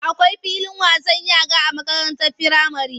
Akwai filin wasan yara a makarantar firamare.